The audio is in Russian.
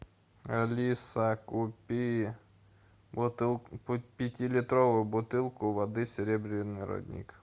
алиса купи бутылку пятилитровую бутылку воды серебряный родник